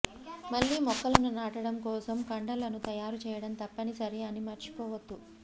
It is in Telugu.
మళ్ళీ మొక్కలను నాటడం కోసం కుండలను తయారు చేయడం తప్పనిసరి అని మర్చిపోవద్దు